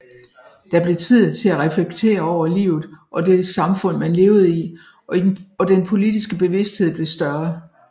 Der blev tid til at reflektere over livet og det samfund man levede i og den politiske bevidsthed blev større